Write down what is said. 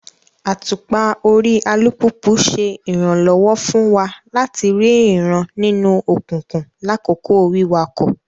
Àtùpà orí alupupu ṣe iranlọwọ fun wa lati rii ìran nínú òkùnkùn lakoko wiwakọ